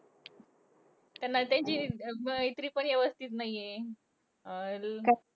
त्यांना त्यांची मैत्री पण व्यवस्थित नाहीये. अं आणि